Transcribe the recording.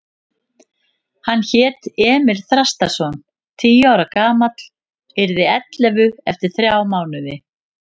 Hann hét Emil Þrastarson, tíu ára gamall, yrði ellefu eftir þrjá mánuði.